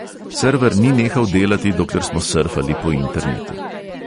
Srver ni nehal delati, dokler smo srfali po internetu.